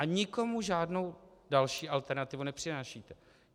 A nikomu žádnou další alternativu nepřinášíte.